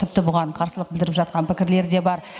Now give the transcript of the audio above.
тіпті бұған қарсылық білдіріп жатқан пікірлер де бар